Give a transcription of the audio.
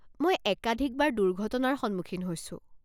মই একাধিকবাৰ দুৰ্ঘটনাৰ সন্মুখীন হৈছো।